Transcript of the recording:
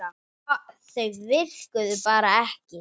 Þau virkuðu bara ekki.